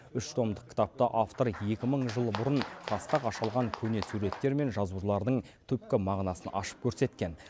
үш томдық кітапта автор екі мың жыл бұрын тасқа қашалған көне суреттер мен жазулардың түпкі мағынасын ашып көрсеткен